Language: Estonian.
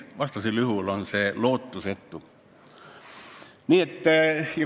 Vastasel juhul on see lootusetu.